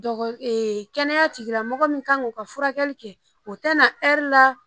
Kɛnɛya tigilamɔgɔ min kan k'u ka furakɛli kɛ u tɛ na la